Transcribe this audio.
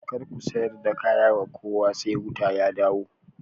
Kar ku sayar da kaya wa kowa sai wuta ya dawo